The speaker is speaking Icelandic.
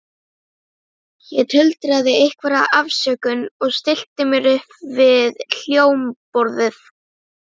Ég tuldraði einhverja afsökun og stillti mér upp við hljómborðið.